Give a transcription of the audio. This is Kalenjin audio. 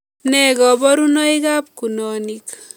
Ne koborunoikab kunonik